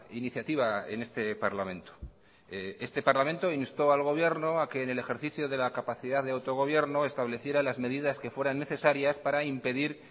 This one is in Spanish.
iniciativa en este parlamento este parlamento instó al gobierno a que en el ejercicio de la capacidad de autogobierno estableciera las medidas que fueran necesarias para impedir